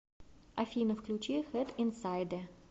афина включи хэд инсайдэ